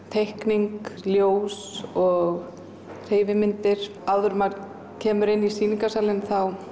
teikning ljós og hreyfimyndir áður en maður kemur inn í sýningarsalinn